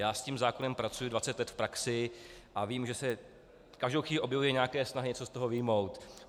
Já s tím zákonem pracuji 20 let v praxi a vím, že se každou chvíli objevily nějaké snahy něco z toho vyjmout.